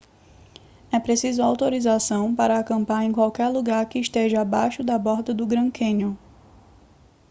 é preciso autorização para acampar em qualquer lugar que esteja abaixo da borda do grand canyon